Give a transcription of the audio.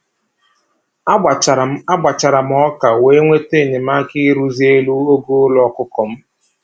A gbachara m A gbachara m ọka wee nweta enyemaka ịrụzi elu ogo ụlọ ọkụkọ m